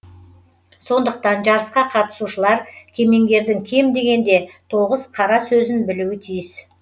сондықтан жарысқа қатысушылар кемеңгердің кем дегенде тоғыз қара сөзін білуі тиіс